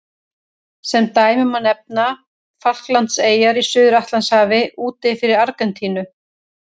Sem dæmi má nefna Falklandseyjar í Suður-Atlantshafi úti fyrir Argentínu.